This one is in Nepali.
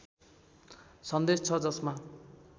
सन्देश छ जसमा